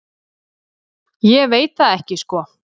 Ég veit það ekki sko.